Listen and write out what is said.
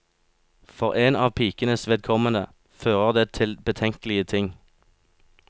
For en av pikenes vedkommende fører det til betenkelige ting.